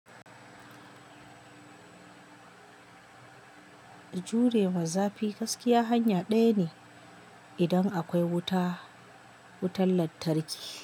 Jure ma zafi gaskiya hanya ɗaya ne idan akwai wuta, wutan lantarki.